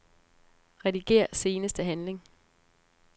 Rediger seneste handling.